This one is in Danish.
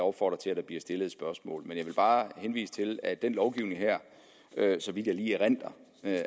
opfordre til at der bliver stillet et spørgsmål men jeg vil bare henvise til at den lovgivning her så vidt jeg lige erindrer